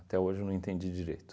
hoje eu não entendi direito.